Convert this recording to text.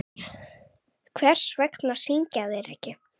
Hvers vegna syngja þeir ekki?